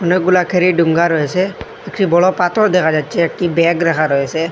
অনেকগুলা ক্যারিডুঙ্গা রয়েছে একটি বড় পাথর দেখা যাচ্ছে একটি ব্যাগ রাখা রয়েছে।